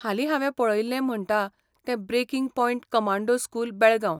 हालीं हांवें पळयिल्लें म्हणटा तें 'breaking point commando school, Belgaum'.